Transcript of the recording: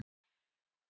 Jú, það er til.